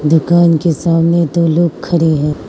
दुकान के सामने दो लोग खड़े हैं।